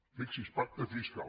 fixi’s pacte fiscal